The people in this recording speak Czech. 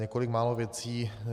Několik málo věcí.